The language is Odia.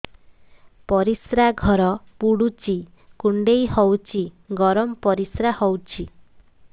ପରିସ୍ରା ଘର ପୁଡୁଚି କୁଣ୍ଡେଇ ହଉଚି ଗରମ ପରିସ୍ରା ହଉଚି